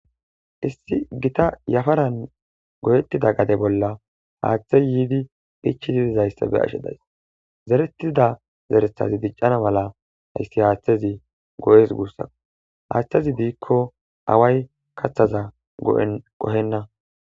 Issi gita yafaran goyettida gade bolla haaththey yiidi phichi didizayssabe ashe days zeretida zerethazi diccana mala hayssi haaththezi go'es guussa haaththezi diikko away kathaza qohenna.